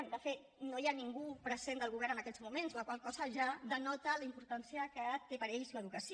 bé de fet no hi ha ningú present del govern en aquests moments la qual cosa ja denota la importància que té per a ells l’educació